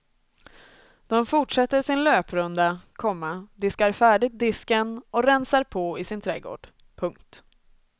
De fortsätter sin löprunda, komma diskar färdigt disken och rensar på i sin trädgård. punkt